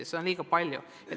Ja seda on liiga palju.